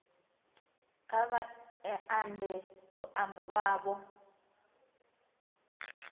kha vha ambe luambo lwavho